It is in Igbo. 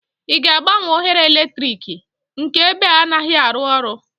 ị ga-agbanwe oghere eletrik? nke ebe a anaghị arụ ọrụ